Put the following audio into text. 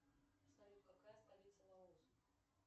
салют какая столица лаоса